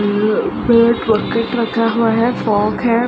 यहाँ एक राकेट रखा हुआ है फोग है।